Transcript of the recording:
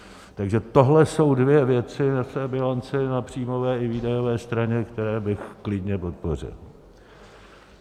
Takže tohle jsou dvě věci v té bilanci na příjmové i výdajové straně, které bych klidně podpořil.